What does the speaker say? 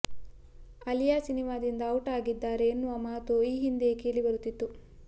ಅಲಿಯಾ ಸಿನಿಮಾದಿಂದ ಔಟ್ ಆಗಿದ್ದಾರೆ ಎನ್ನುವ ಮಾತು ಈ ಹಿಂದೆಯೇ ಕೇಳಿಬರುತ್ತಿತ್ತು